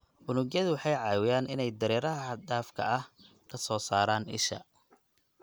Unugyadu waxay caawiyaan inay dareeraha xad-dhaafka ah ka soo saaraan isha.